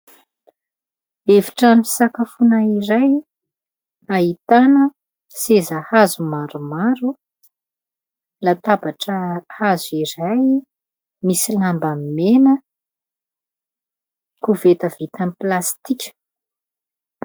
efitrano fisakafoana iray ahitana seza hazo maromaro, latabatra hazo iray, misy lamba mena, koveta vita amin'ny plastika.